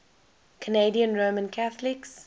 canadian roman catholics